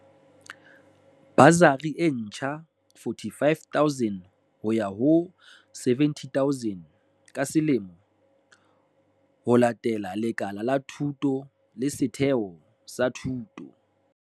Basari e ntsha R45 000 ho ya ho R70 000 ka selemo, ho latela lekala la thuto le setheo sa thuto.